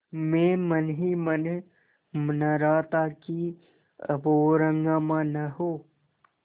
मैं मन ही मन मना रहा था कि अब और हंगामा न हो